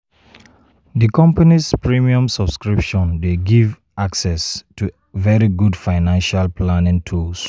di company's premium subscription dey give access to very good financial planning tools.